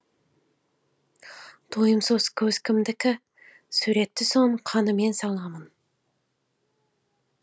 тойымсыз көз кімдікі суретті соның қанымен саламын